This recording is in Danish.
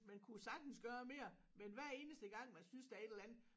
Man kunne sagtens gøre mere men hver eneste gang man synes der er et eller andet